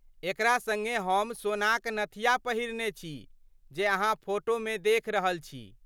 एकरा सङ्गे हम सोनाक नथिया पहिरने छी जे अहाँ फोटोमे देखि रहल छी।